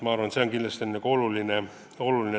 Ma arvan, et see on kindlasti oluline.